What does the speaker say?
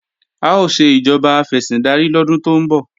A ó ṣe ìjọba afẹ̀sìndarí lọ́dún tó ń bọ̀